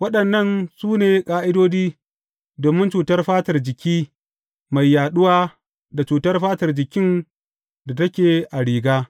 Waɗannan su ne ƙa’idodi domin cutar fatar jiki mai yaɗuwa da cutar fatar jikin da take a riga.